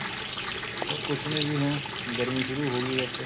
ਬੱਸ ਕੁੱਛ ਨਹੀਂ ਜ਼ੀ ਹੁਣ ਗਰਮੀ ਸ਼ੁਰੂ ਹੋ ਗਈ ਬੱਸ